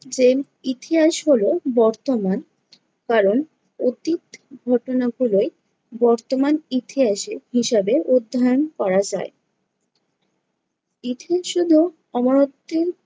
যে ইতিহাস হলো বর্তমান, কারণ অতীত ঘটনাগুলোই বর্তমান ইতিহাসে হিসাবে অধ্যয়ন করা যায়। ইতিহাস হলো অমরত্বের